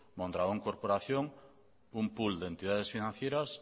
mondragón corporación un pool de entidades financieras